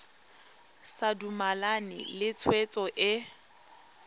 sa dumalane le tshwetso e